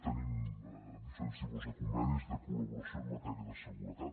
tenim diferents tipus de convenis de col·laboració en matèria de seguretat